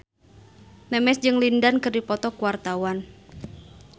Memes jeung Lin Dan keur dipoto ku wartawan